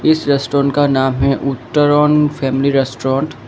इस रेस्टोरेंट का नाम है उत्तरन फैमिली रेस्टोरेंट ।